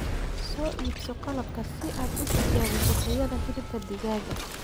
Soo iibso qalabka si aad u tijaabiso tayada hilibka digaaga.